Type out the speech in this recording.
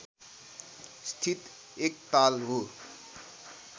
स्थित एक ताल हो